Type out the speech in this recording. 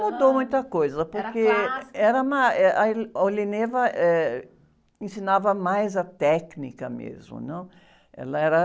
Mudou muita coisa, porque...) era clássico? , na, eh, a, eh, ensinava mais a técnica mesmo, não? Ela era...